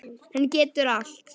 Hann getur allt.